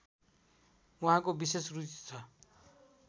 उहाँको विशेष रुचि छ